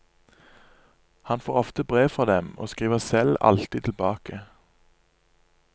Han får ofte brev fra dem, og skriver selv alltid tilbake.